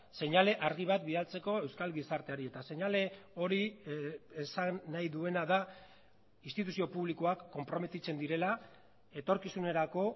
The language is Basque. seinale argi bat bidaltzeko euskal gizarteari eta seinale hori esan nahi duena da instituzio publikoak konprometitzen direla etorkizunerako